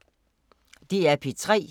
DR P3